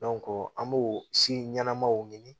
an b'o si ɲɛnamaw ɲini